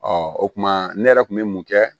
o kumana ne yɛrɛ kun bɛ mun kɛ